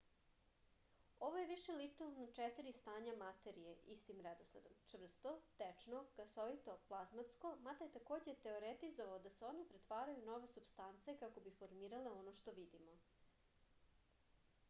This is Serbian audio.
ово је више личило на четири стања материје истим редоследом: чврсто течно гасовито плазматско мада је такође теоретизовао да се оне претварају у нове супстанце како би формирале оно што видимо